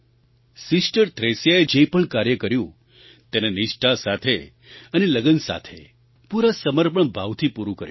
sister થ્રેસિયાએ જે પણ કાર્ય કર્યું તેને નિષ્ઠા અને લગન સાથે પૂરા સમર્પણ ભાવથી પૂરું કર્યું